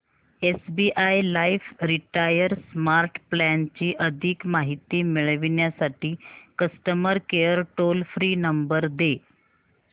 SBI life retire smart plan ची अधिक माहिती मिळविण्यासाठी customer care toll free number दे